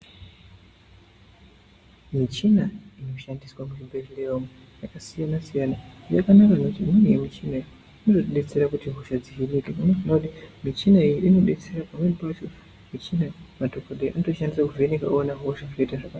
Michina inoshandiswa muzvibhedhlera umu yakasiyana-siyana yakanaka ngekuti imweni yemichina iyi inotidetsera kuti hosha dzihinike michina iyi inodetsera pamwe pacho madhokodheya anoshandisa kuvheneka oona hosha zvoita zvakanaka.